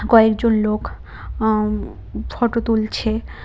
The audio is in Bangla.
কয়েকজন লোক আঃ উম ফটো তুলছে।